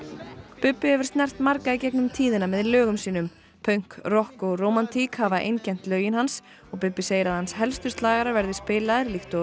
Bubbi hefur snert marga í gegnum tíðina með lögum sínum pönk rokk og rómantík hafa einkennt lögin hans Bubbi segir að hans helstu slagarar verði spilaðir líkt og